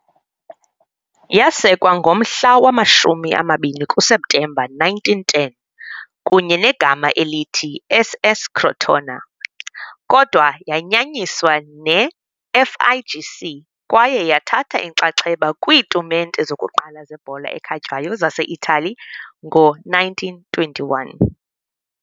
Yasekwa ngomhla wama-20 kuSeptemba 1910 kunye negama elithi "SS Crotona", kodwa yayanyaniswa neFIGC kwaye yathatha inxaxheba kwiitumente zokuqala zebhola ekhatywayo zaseItali ngo-1921